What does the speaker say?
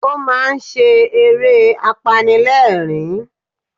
Ó máa ń ṣe eré apanilẹ́rìn-ín